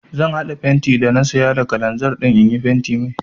Zan haɗa fenti da na saya da kalanzir in yi fentin mai.